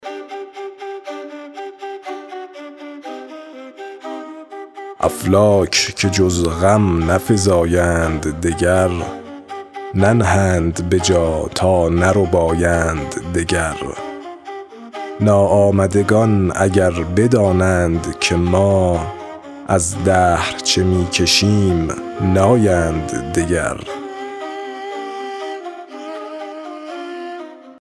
افلاک که جز غم نفزایند دگر ننهند به جا تا نربایند دگر ناآمدگان اگر بدانند که ما از دهر چه می کشیم نایند دگر